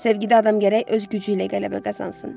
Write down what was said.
Sevgidə adam gərək öz gücü ilə qələbə qazansın.